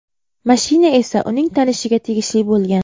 Mashina esa uning tanishiga tegishli bo‘lgan.